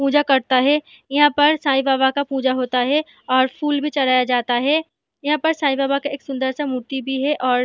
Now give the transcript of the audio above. पूजा करता है यहाँ पर साईं बाबा का पूजा होता है और फुल भी चढ़ाए जाता है यहाँ पर साईं बाबा का सुंदर सा मूर्ती भी है और --